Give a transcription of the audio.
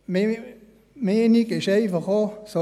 Meine Meinung ist einfach auch: